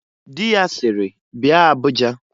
Di ya siri, "Bia Abuja!"